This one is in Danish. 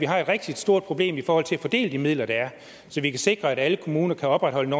har et rigtig stort problem i forhold til at fordele de midler der er så vi kan sikre at alle kommuner kan opretholde en